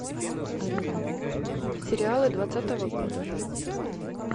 сериалы двадцатого года